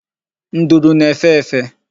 Nduru na-efe efe.